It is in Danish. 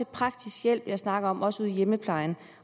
praktisk hjælp jeg snakker om også ude i hjemmeplejen